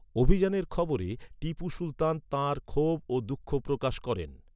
অভিযানের খবরে, টিপু সুলতান, তাঁর ক্ষোভ ও দুঃখ প্রকাশ করেন।